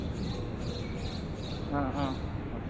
অ অ হব